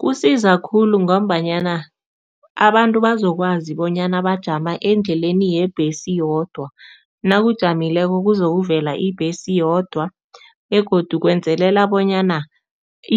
Kusiza khulu ngombanyana abantu bazokwazi bonyana bajama endleleni yebhesi yodwa. Nawujamileko kuzokuvela ibhesi yodwa begodu kwenzelela bonyana